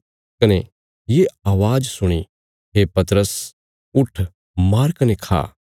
कने ये अवाज़ सुणी हे पतरस उट्ठ मार कने खा